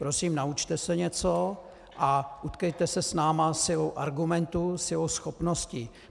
Prosím, naučte se něco a utkejte se s námi silou argumentů, silou schopností.